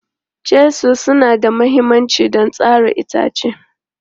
Chisels suna da mahimmanci don tsara itace.